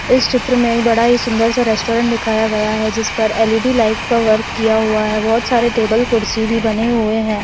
इस चित्र में बड़ा ही सुंदर सा रेस्टोरेंट दिखाया गया है जिस पर एल.इ.डी. लाइट का वर्क किया हुआ है बहुत सारे टेबल कुर्सी भी बने हुए हैं।